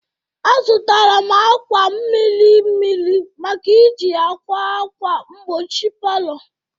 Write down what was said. Azụtara m akwa miri miri maka iji a kwa akwa mgbochi palọ.